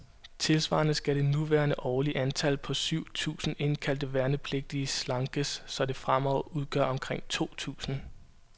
Tilsvarende skal det nuværende årlige antal, på syv tusinde indkaldte værnepligtige, slankes, så det fremover udgør omkring to tusinde.